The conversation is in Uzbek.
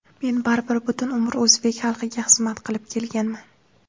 Men baribir butun umr o‘zbek xalqiga xizmat qilib kelganman.